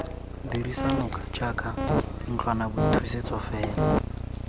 dirisa noka jaaka ntlwanaboithusetso fela